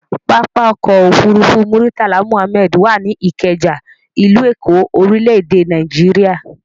Pápá-ọkọ̀ òfurufú Murtala Muhammed wà ní Ìkẹjà, ìlú Èkó, orílẹ̀-èdè Nàíjíríà.